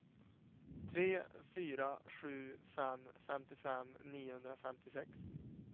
tre fyra sju fem femtiofem niohundrafemtiosex